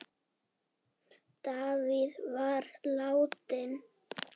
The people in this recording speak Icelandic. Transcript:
Davíð var látinn.